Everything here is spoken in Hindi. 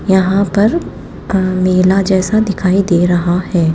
यहां पर मेला जैसा दिखाई दे रहा है।